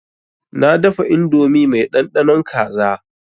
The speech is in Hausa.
Na dafa indomi mai ɗanɗanon kaza.